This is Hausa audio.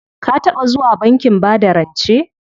Ka taɓa zuwa bankin bada rance?